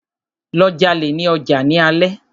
Lọ jalè ní ọjà ní alé!